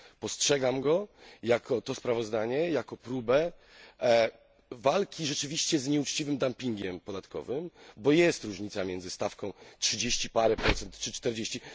Postrzegam to sprawozdanie jako próbę walki rzeczywiście z nieuczciwym dumpingiem podatkowym, bo jest różnica między stawką trzydzieści parę procent czy czterdzieści.